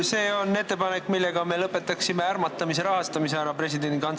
See on ettepanek, millega me lõpetaksime ära ärmatamise rahastamise presidendi kantselei alt.